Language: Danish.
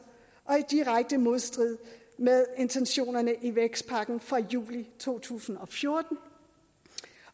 og i direkte modstrid med intentionerne i vækstpakken fra juli to tusind og fjorten